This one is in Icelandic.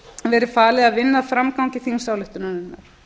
verið falið að vinna að framgang þingsályktunarinnar